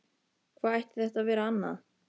Hvað ætti þetta að vera annað?